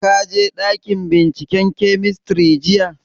Ka je ɗakin binciken kemistri jiya?